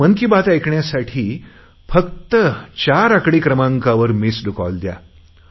आता मन की बात ऐकण्यासाठी फक्त चार आकडी क्रमाकांवर मिस्ड कॉल द्या